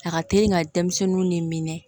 A ka teli ka denmisɛnninw ni minɛ